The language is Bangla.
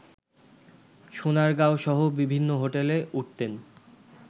সোনারগাঁওসহ বিভিন্ন হোটেলে উঠতেন